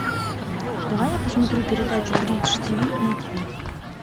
давай я посмотрю передачу бридж тиви на тиви